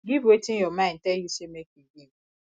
give wetin your mind tell you say make you give